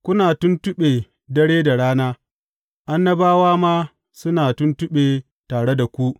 Kuna tuntuɓe dare da rana, annabawa ma suna tuntuɓe tare da ku.